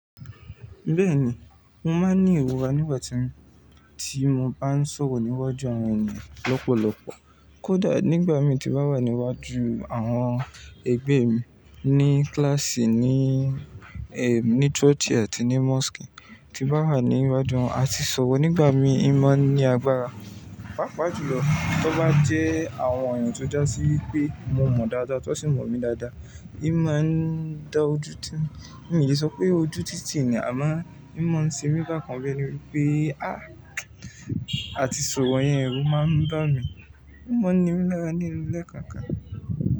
Bẹ́ẹ̀ni, mo máa ń ní ìwúra nígbà tí mo bá ń sọ̀rọ̀ níwájú àwọn ènìyàn lọ́pọ̀lọpọ̀. Kódà nígbà mí tí bá wà níwájú àwọn ẹgbẹ́ mi ní kíláàsì, ní, ẹm, ní ṣọ́ọ̀ṣì àti ní mọ́ṣúkì, tí bá wà níwájú wọn àti sọ̀rọ̀ nígbà mi, ì máa ń ní agbára. Pápá jù lọ, tó bá jẹ́ àwọn èèyàn tó dá sí wípé mo mọ̀ dáadáa, tó sì mọ̀ mí dáadáa, ì máa ń da ojú ti wón. Mi ò ni sọ pé ojú títì ni, àmọ́ ì máa ń sinmi bákan bí ẹni pé "á, àti sọ̀rọ̀ yẹn ẹrú máa ń dá mi, mo mọ̀ ní o lọ́wọ́ nínú ilẹ̀ kan kan.